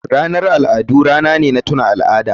Ranar al'adu rana ne na tuna al'ada.